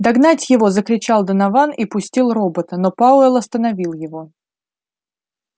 догнать его закричал донован и пустил робота но пауэлл остановил его